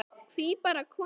Hví bara konur?